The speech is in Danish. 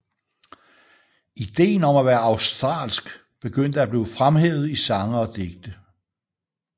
Ideen om at være australsk begyndte at blive fremhævet i sange og digte